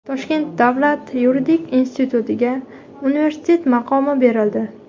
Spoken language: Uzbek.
Toshkent davlat yuridik institutiga universitet maqomi berildi.